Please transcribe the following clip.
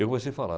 Eu comecei falar.